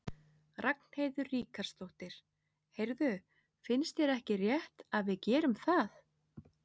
Ragnheiður Ríkharðsdóttir: Heyrðu, finnst þér ekki rétt að við gerum það?